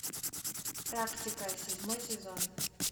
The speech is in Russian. практика седьмой сезон